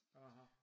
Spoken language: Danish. Aha